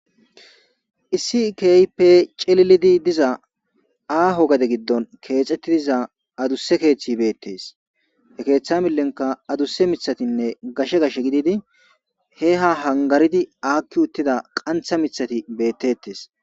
issi keehipe celilidi diza aaho gade giddon keexettidiza adusse keeththi beettes he keeththa millenka adusse mithatinne gashe gash gididi he ha hangaridi aakki uttida qantha mithati beettettes